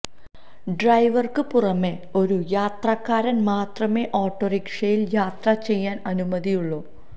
ഡ്രൈവര്ക്ക് പുറമെ ഒരു യാത്രക്കാരന് മാത്രമെ ഓട്ടോറിക്ഷയില് യാത്ര ചെയ്യാന് അനുമതിയുള്ളു